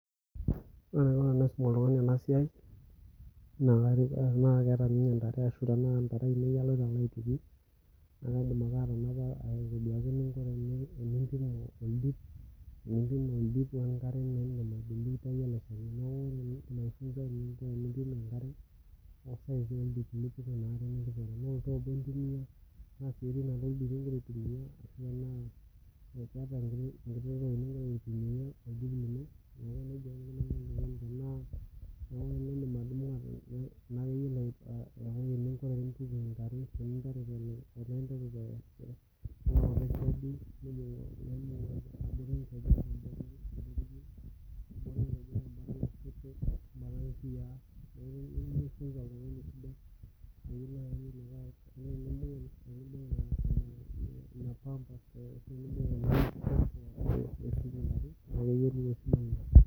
Ore enaiko tenaisum oltung'ani ena siai naa Tena ntare ainei aloito aituku naliki enaiko tenaipima oldip wee nkare tenaa olntome lee nkare egira aitumia tenaa sioten are oldip egira aitumia niwoshoki enkiteng enkiyia niwoshoki embidig